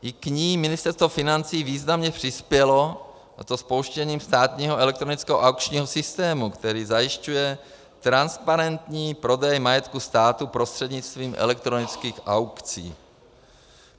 I k ní Ministerstvo financí významně přispělo, a to spouštěním státního elektronického aukčního systému, který zajišťuje transparentní prodej majetku státu prostřednictvím elektronických aukcí.